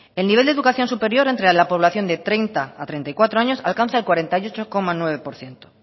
el nivel de educación superior entre la población de treinta a treinta y cuatro años alcanza el cuarenta y ocho coma nueve por ciento